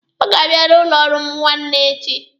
Ọ ga-abịa n'ụlọ ọrụ m nwanne echi.